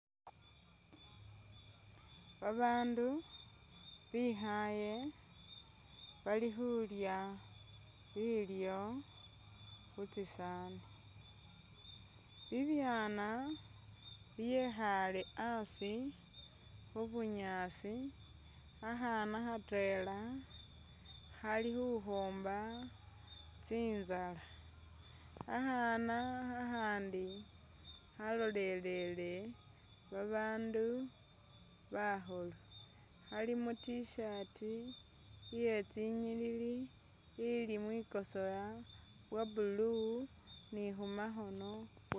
Babaandu bekhale bali khulya bilyo khutsisaani, bibyaana byekhale a'asi khubunyaasi akhaana khatwela khali khukhoomba tsinzala, akhaana khakhandi khalolelele babaandu bakhulu khali mu t-shirt iye tsi inyilili ili mwikosowa bwa blue ni khumakhoono